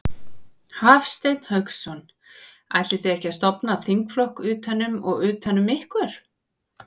Hafsteinn Hauksson: Ætlið þið að stofna þingflokk utan um, utan um ykkur?